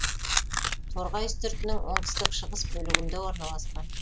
торғай үстіртінің оңтүстік шығыс бөлігінде орналасқан